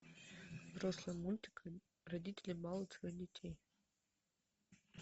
взрослый мультик родители балуют своих детей